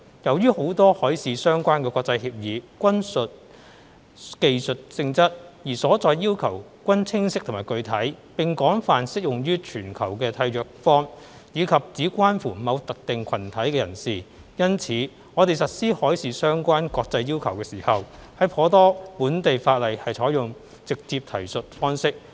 由於很多海事相關的國際協議均屬技術性質，而所載要求均清晰和具體，並廣泛適用於全球的締約方，以及只關乎某特定群體人士。因此，在實施海事相關國際要求時，頗多本地法例採用"直接提述方式"。